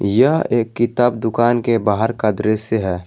यह एक किताब दुकान के बाहर का दृश्य है।